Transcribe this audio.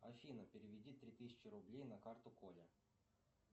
афина переведи три тысячи рублей на карту коле